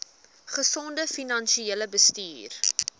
gesonde finansiële bestuur